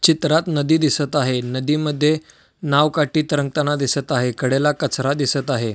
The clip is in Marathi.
चित्रात नदी दिसत आहे नदीमध्ये नाव काठी तरंगताना दिसत आहे कडेला कचरा दिसत आहे.